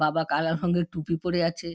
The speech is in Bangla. বাবা কালা রঙের টুপি পরে আছে।